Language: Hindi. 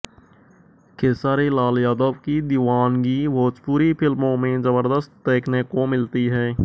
खेसारी लाल यादव की दीवानगी भोजपुरी फिल्मों में जबरदस्त देखने को मिलती है